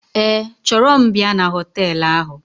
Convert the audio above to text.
Ee, chọrọ m bịa na họteelụ ahụ